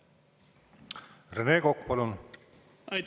Rene Kokk, palun!